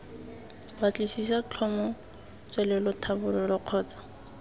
batlisisa tlhomo tswelelo tlhabololo kgotsa